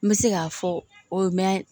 N bɛ se k'a fɔ o ye mɛn